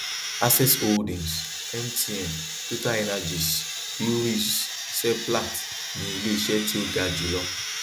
access holdings mtn totalenergies breweries seplat ni iléiṣẹ tí ó ga jùlọ